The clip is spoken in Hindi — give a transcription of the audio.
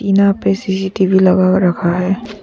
टीना पे सी_सी_टी_वी लगा रखा है।